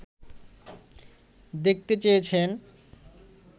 দেখতে চেয়েছেন